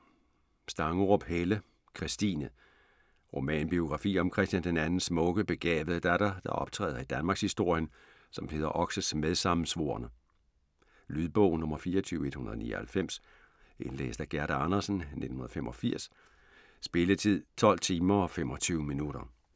Stangerup, Helle: Christine Romanbiografi om Christian II's smukke, begavede datter, der optræder i danmarkshistorien som Peder Oxes medsammensvorne. Lydbog 24199 Indlæst af Gerda Andersen, 1985. Spilletid: 12 timer, 25 minutter.